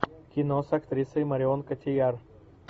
кино с актрисой марион котийяр